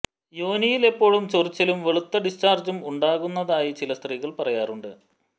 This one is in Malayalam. യോനിയിൽ എപ്പോഴും ചൊറിച്ചിലും വെളുത്ത ഡിസ്ചാർജും ഉണ്ടാകുന്നതായി ചില സ്ത്രീകൾ പറയാറുണ്ട്